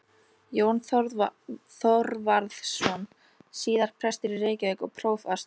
Jón Þorvarðsson, síðar prestur í Reykjavík og prófastur.